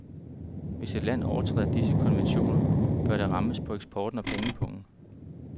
Hvis et land overtræder disse konventioner, bør det rammes på eksporten og pengepungen.